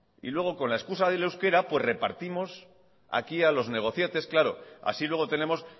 y luego con la excusa del euskera repartimos aquí a los negocietes claro así luego tenemos